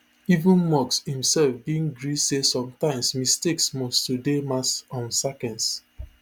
even musk imsef bin gree say sometimes mistakes must to dey mass um sackings